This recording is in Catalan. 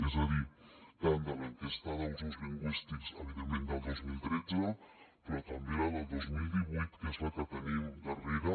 és a dir tant de l’enquesta d’usos lingüístics evidentment del dos mil tretze però també la del dos mil divuit que és la que tenim darrera